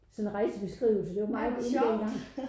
Sådan en rejsebeskrivelse det var meget in dengang